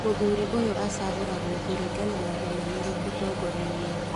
Mũthuri ũyũ acagũragwo kuringana na ũmenyeru ũtongoria-inĩ